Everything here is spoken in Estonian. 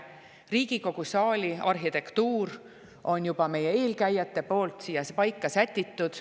meie Riigikogu saali arhitektuur, mis on juba meie eelkäijate poolt paika sätitud.